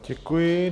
Děkuji.